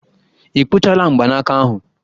Ị kpụchala mgbanaka ahụ?